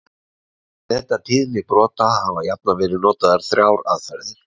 Til að meta tíðni brota hafa jafnan verið notaðar þrjár aðferðir.